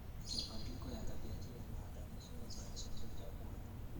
Mabadiliko ya tabianchi yanahatarisha uzalishaji wa chakula.